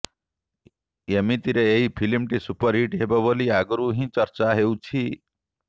ଏମିତିରେ ଏହି ଫିଲ୍ମଟି ସୁପରହିଟ୍ ହେବ ବୋଲି ଆଗରୁ ହିଁ ଚର୍ଚ୍ଚା ହେଉଛି